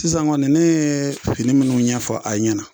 Sisan kɔni ne ye fini minnu ɲɛfɔ a ɲɛna.